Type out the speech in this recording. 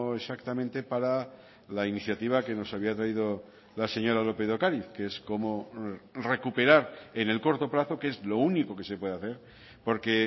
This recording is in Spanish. exactamente para la iniciativa que nos había traído la señora lópez de ocariz que es cómo recuperar en el corto plazo que es lo único que se puede hacer porque